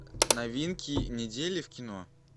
новинки недели в кино